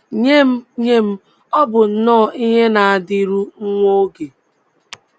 Nye m, Nye m, ọ bụ nnọọ ihe na - adịru nwa oge.